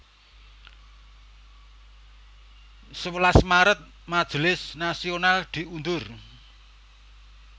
Sewelas Maret Majelis Nasional diundur